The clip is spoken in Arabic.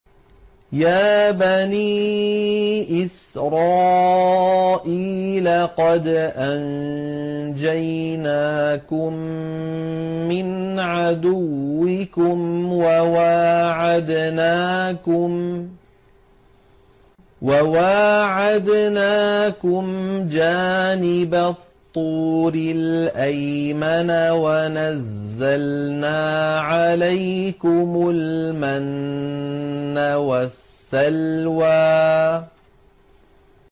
يَا بَنِي إِسْرَائِيلَ قَدْ أَنجَيْنَاكُم مِّنْ عَدُوِّكُمْ وَوَاعَدْنَاكُمْ جَانِبَ الطُّورِ الْأَيْمَنَ وَنَزَّلْنَا عَلَيْكُمُ الْمَنَّ وَالسَّلْوَىٰ